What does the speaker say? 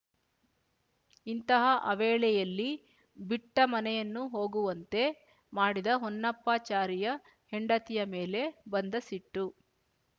ಇಂತಹ ಅವೇಳೆಯಲ್ಲಿ ಬಿಟ್ಟ ಮನೆಯನ್ನು ಹೋಗುವಂತೆ ಮಾಡಿದ ಹೊನ್ನಪ್ಪಾ ಚಾರಿಯ ಹೆಂಡತಿಯ ಮೇಲೆ ಬಂದ ಸಿಟ್ಟು